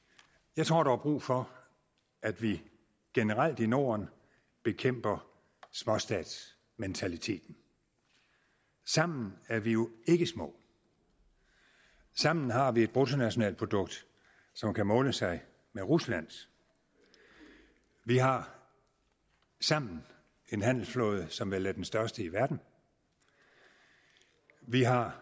jeg tror der er brug for at vi generelt i norden bekæmper småstatsmentaliteten sammen er vi jo ikke små sammen har vi et bruttonationalprodukt som kan måle sig med ruslands vi har sammen en handelsflåde som vel er den største i verden vi har